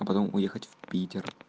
потом уехать в питер